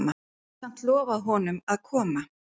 Hafði samt lofað honum að koma.